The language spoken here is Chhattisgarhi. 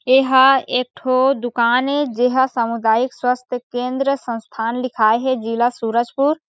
ये हा एक ठो दुकान ए जेहा समुदायिक स्वास्थ केन्द्र संसथान लिखाये हे जिला सूरजपुर--